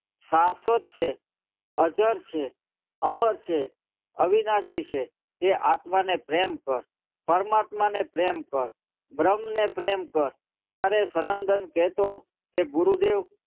શાશ્વત છે અજર છે અમર છે અવિનાશી છે તે આત્માને પ્રેમ કર પરમાત્માને પ્રેમ કર બ્રહ્મ ને પ્રેમ કર ત્યારે સનંદન કેહતો ગુરુદેવ